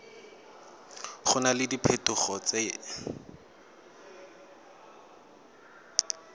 go na le diphetogo tse